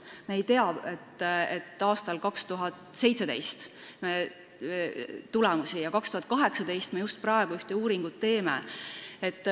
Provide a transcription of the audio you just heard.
Me ei tea 2017. aasta tulemusi ja 2018. aastal, just praegu, me ühte uuringut teeme.